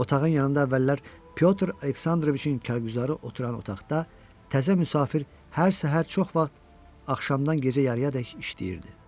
Otağın yanında əvvəllər Pyotr Aleksandroviçin kargüzarı oturan otaqda təzə müsafir hər səhər çox vaxt axşamdan gecə yarıyadək işləyirdi.